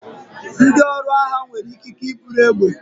Ndị ọrụ agha nwere ikike iburu egbe.